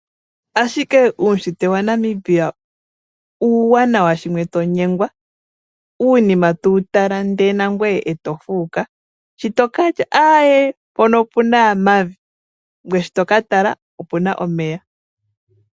Ashike uushitwe wanamibia uuwanawa shimwe tonyengwa, uunima tuutala ndee nangwee eto fuuka. Shi tokatya aye mpono opuna mavi ngwee shi tokatala opuna omeya.